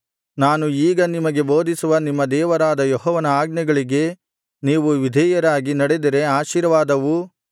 ನಾನು ಈಗ ನಿಮಗೆ ಬೋಧಿಸುವ ನಿಮ್ಮ ದೇವರಾದ ಯೆಹೋವನ ಆಜ್ಞೆಗಳಿಗೆ ನೀವು ವಿಧೇಯರಾಗಿ ನಡೆದರೆ ಆಶೀರ್ವಾದವೂ